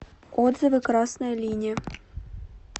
отзывы красная линия